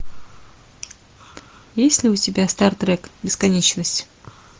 есть ли у тебя стартрек бесконечность